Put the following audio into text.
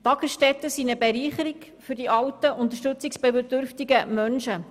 Tagesstätten sind eine Bereicherung für die alten, unterstützungsbedürftigen Menschen.